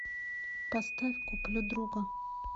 поставь куплю друга